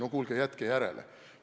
No kuulge, jätke järele!